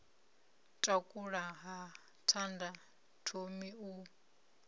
takula ha thanda thomi u